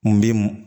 N bɛ mɔ